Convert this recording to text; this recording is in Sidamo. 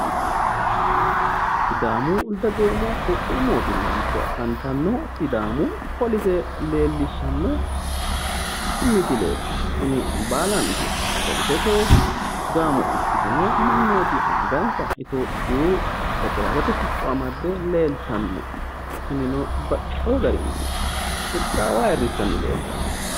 Sidaamu dagoomu qoqqowu mootimma giddo affanitano sidaamu police leelishano misileti, tini baalanti policete gaamo ikitino mannoti aniganisa ethiopiyu federalete si'co amadde leelitano tinino baxeewo